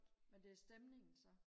men det er stemningen så